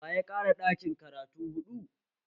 Waya ƙara ɗakin karatu huɗu?